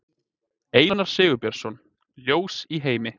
Einar Sigurbjörnsson, Ljós í heimi.